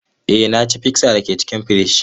Ee, na ci pizza da ke cikin firiji.